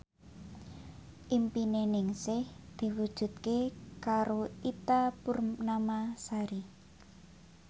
impine Ningsih diwujudke karo Ita Purnamasari